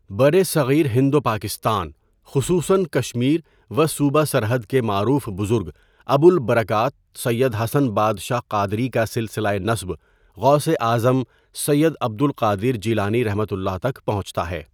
برصغیر ہند و پاکستان، خصوصاً کشمیر و صوبہ سرحد کے معروف بزرگ ابوالبرکات سید حسن بادشاہ قادری کا سلسلۂ نسب غوثِ اعظم سید عبد القادر جیلانی ؒتک پہنچتا ہے.